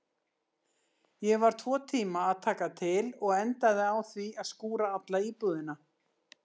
Ég var tvo tíma að taka til og endaði á því að skúra alla íbúðina.